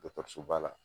Dɔkɔtɔrɔsoba la